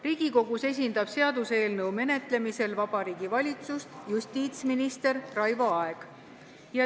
Riigikogus esindab seaduseelnõu menetlemisel Vabariigi Valitsust justiitsminister Raivo Aeg.